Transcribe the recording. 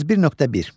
31.1.